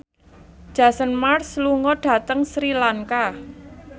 Jason Mraz lunga dhateng Sri Lanka